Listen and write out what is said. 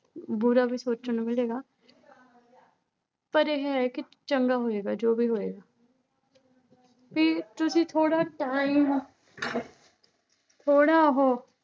ਬੁਰਾ ਵੀ ਸੋਚਣ ਨੂੰ ਮਿਲੇਗਾ ਪਰ ਇਹ ਹੈ ਕਿ ਚੰਗਾ ਹੋਏਗਾ ਜੋ ਵੀ ਹੋਏਗਾ ਵੀ ਤੁਸੀਂ ਥੋੜ੍ਹਾ time ਥੋੜ੍ਹਾ ਉਹ